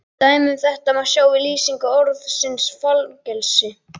Dæmi um þetta má sjá í lýsingu orðsins fangelsi: